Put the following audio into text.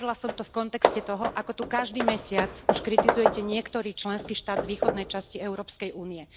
Hovorila som to v kontexte toho, ako tu už každý mesiac kritizujete niektorý členský štát z východnej časti Európskej únie.